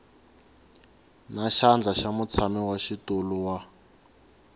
na xandla xa mutshamaxitulu wa